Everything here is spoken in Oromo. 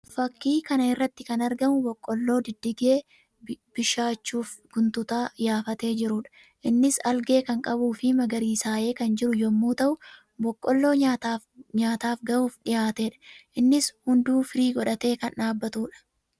Fakkii kana irratti kan argamu boqolloo diddigee bishaachuuf guntuta yaafatee jiruudha. Innis algee kan qabuu fi magariisayee kan jiru yammuu ta'u; boqolloo nyaataaf ga'uuf dhiyaateedha. Innis hunduu firii godhatee kan dhaabbatuudha.